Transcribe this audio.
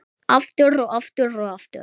Aftur, og aftur, og aftur.